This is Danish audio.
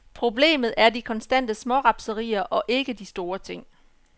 Problemet er de konstante smårapserier og ikke de store ting.